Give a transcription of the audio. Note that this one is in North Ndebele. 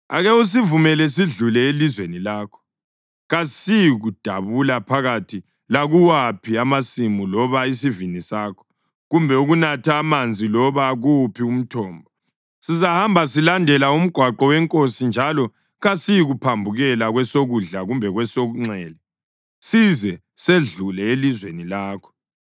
Ake usivumele sidlule elizweni lakho. Kasiyikudabula phakathi lakuwaphi amasimu loba isivini sakho, kumbe ukunatha amanzi loba kuwuphi umthombo. Sizahamba silandela umgwaqo wenkosi njalo kasiyikuphambukela kwesokudla kumbe kwesokunxele size sedlule elizweni lakho.”